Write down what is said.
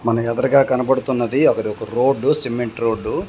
మనకెదరగా కనబడుతున్నది అది ఒక రోడ్డు సిమెంట్ రోడ్డు .